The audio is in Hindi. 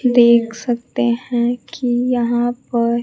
देख सकते है कि यहां पर--